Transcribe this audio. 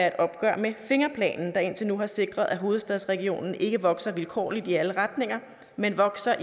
et opgør med fingerplanen der indtil nu har sikret at hovedstadsregionen ikke vokser vilkårligt i alle retninger men vokser